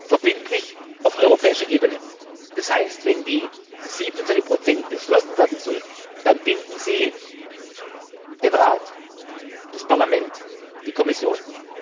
Verbindlich auf europäischer Ebene heißt, wenn die 27 beschlossen werden sollten, dann binden sie den Rat, das Parlament, die Kommission.